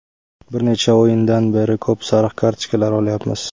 Bir necha o‘yindan beri ko‘p sariq kartochkalar olyapmiz.